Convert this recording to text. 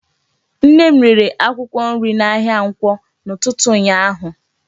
Nne m rere akwụkwọ nri n'ahịa Nkwọ n'ụtụtụ ụnyaahụ.